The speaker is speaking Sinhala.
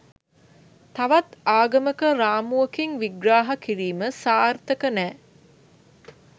තවත් ආගමක රාමුවකින් විහ්‍රහ කිරීම සාර්තක නෑ